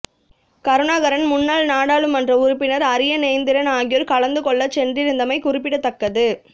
கருணாகரன் முன்னாள் நாடாளுமன்ற உறுப்பினர் அரியநேத்திரன் ஆகியோர் கலந்து கொள்ளச் சென்றிருந்தமை குறிப்பிடத்தக்கது